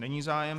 Není zájem.